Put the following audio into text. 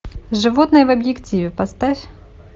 животные в объективе поставь